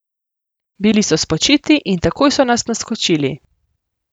Bili so spočiti in takoj so nas naskočili.